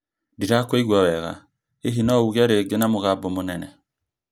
Ndĩrakũigua wega , hihi no uge rĩngĩ na mũgambo mũnene.